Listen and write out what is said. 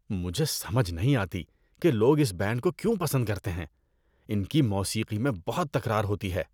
مجھے سمجھ نہیں آتی کہ لوگ اس بینڈ کو کیوں پسند کرتے ہیں۔ ان کی موسیقی میں بہت تکرار ہوتی ہے۔